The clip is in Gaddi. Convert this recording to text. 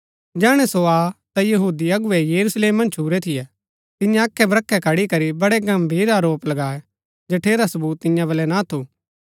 जैहणै सो आ ता यहूदी अगुवै यरूशलेम मन्ज छुरै थियै तिन्ये अखैबख्रै खड़ी करी बड़ै गम्भीर आरोप लगाए जठेरा सवूत तियां वलै ना थु